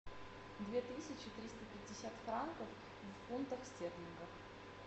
две тысячи триста пятьдесят франков в фунтах стерлингов